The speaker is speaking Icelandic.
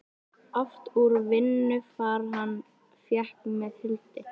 Oft úr vinnu far hann fékk með Hildi.